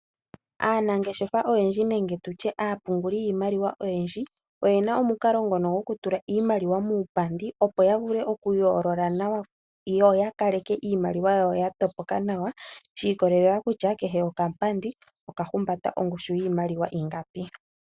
Aanangeshefa oyendji nenge aapunguli yiimaliwa oyendji oye na omukalo ngono gokutula iimaliwa muupandi, opo ya vule okuyoolola nawa yo ya kaleke iimaliwa yawo ya topoka nawa shi ikolelela kutya kehe okapandi okahumbata ongushu yiimaliwa ingapi.